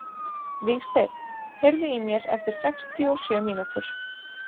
Vígsteinn, heyrðu í mér eftir sextíu og sjö mínútur.